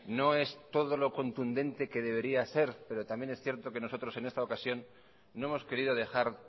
no es todo lo contundente que debería ser pero también es cierto que nosotros en esta ocasión no hemos querido dejar